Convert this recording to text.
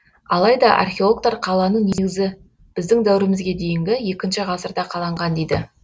алайда археологтар қаланың негізі біздің дәуірімізге дейінгі екінші ғасырда қаланған дейді